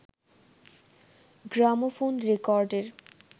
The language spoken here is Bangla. গ্রামোফোন রেকর্ডের